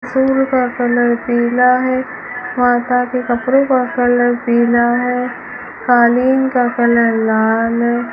फूल का कलर पीला है माता के कपड़ों का कलर पीला है कालीन का कलर लाल है।